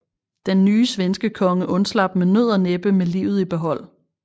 Den nye svenskekonge undslap med nød og næppe med livet i behold